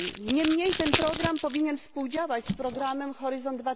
Niemniej ten program powinien współdziałać z programem Horyzont